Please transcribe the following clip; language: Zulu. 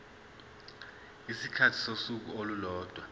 isikhathi sosuku olulodwa